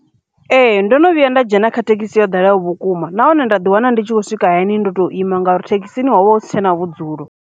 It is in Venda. Ee, ndo no vhuya nda dzhena kha thekhisi ya ḓalaho vhukuma na hone nda ḓi wana ndi tshi khou swika hani ndo to ima ngauri thekhisini wa huvha husi tshena vhudzulo.